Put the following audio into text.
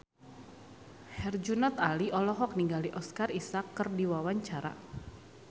Herjunot Ali olohok ningali Oscar Isaac keur diwawancara